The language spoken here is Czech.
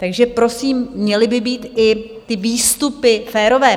Takže prosím, měly by být i ty výstupy férové.